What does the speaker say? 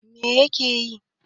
Me yake yi?